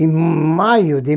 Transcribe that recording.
Em maio de